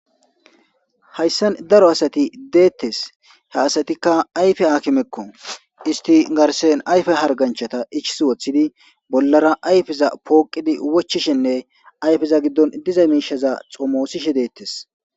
Hayisan daro asati detees ha asatika ayife hakimeko isti garsan ayife harganchata ichisi wotidi bolara ayifeza poqidi wochizinne ayifeza gidon diza mishata xomosishe detees